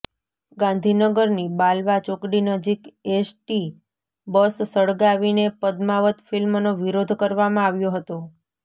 ગાંધીનગરની બાલવા ચોકડી નજીક એસટી બસ સળગાવીને પદ્માવત ફિલ્મનો વિરોધ કરવામાં આવ્યો હતો